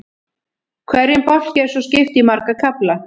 Hverjum bálki er svo skipt í marga kafla.